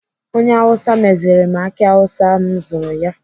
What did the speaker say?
Onye Awụsa meziri m aki awụsa ahụ m zụrụ ya.